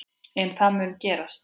En það mun gerast.